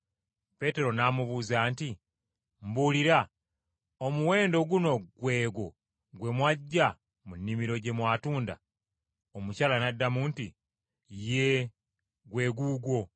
Peetero n’amubuuza nti, “Mbuulira, omuwendo guno gwe gwo gwe mwaggya mu nnimiro gye mwatunda?” Omukyala n’addamu nti, “Yee, gwe guugwo.”